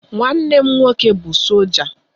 Nwanne m nwoke bụ sọlja